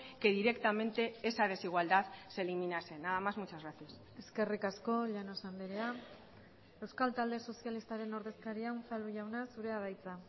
que directamente esa desigualdad se eliminasen nada más muchas gracias eskerrik asko llanos andrea euskal talde sozialistaren ordezkaria unzalu jauna zurea da hitza